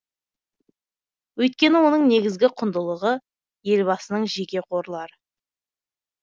өйткені оның негізгі құндылығы елбасының жеке қорлары